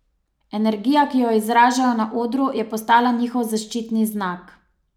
Energija, ki jo izražajo na odru, je postala njihov zaščitni znak.